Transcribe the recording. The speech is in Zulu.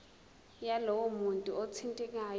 yalowo muntu othintekayo